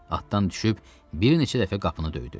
Atdan düşüb bir neçə dəfə qapını döydü.